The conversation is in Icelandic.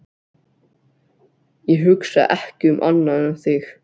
Ég hugsa ekki um annað en þig.